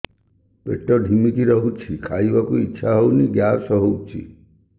ପେଟ ଢିମିକି ରହୁଛି ଖାଇବାକୁ ଇଛା ହଉନି ଗ୍ୟାସ ହଉଚି